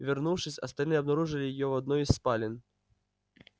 вернувшись остальные обнаружили её в одной из спален